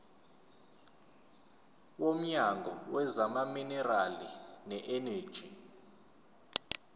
womnyango wezamaminerali neeneji